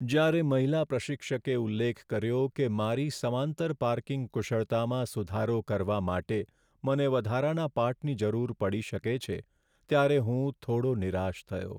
જ્યારે મહિલા પ્રશિક્ષકે ઉલ્લેખ કર્યો કે મારી સમાંતર પાર્કિંગ કુશળતામાં સુધારો કરવા માટે મને વધારાના પાઠની જરૂર પડી શકે છે, ત્યારે હું થોડો નિરાશ થયો.